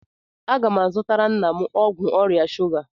Agá m azutara nna m ọgwụ ọrịa shuga